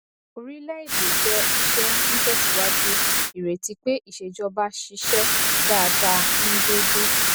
orílẹ èdè jẹ iṣẹ ńtẹsíwájú ìrètí pé ìṣèjọba ṣiṣẹ dáadáa ní déédéé